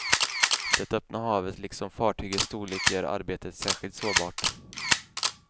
Det öppna havet liksom fartygets storlek gör arbetet särskilt sårbart.